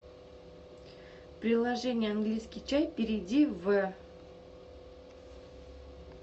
приложение английский чай перейди в